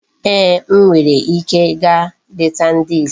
Eeh, m nwere ike gaa leta ndị isi